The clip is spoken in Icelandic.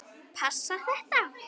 Passar þetta?